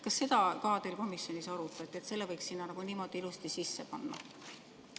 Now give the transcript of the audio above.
Kas seda ka teil komisjonis arutati, et selle võiks sinna niimoodi ilusti sisse panna?